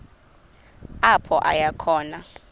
apho aya khona